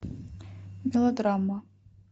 мелодрама